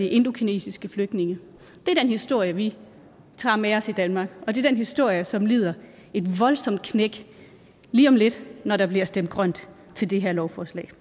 indokinesiske flygtninge det er den historie vi tager med os i danmark og det er den historie som lider et voldsomt knæk lige om lidt når der bliver stemt grønt til det her lovforslag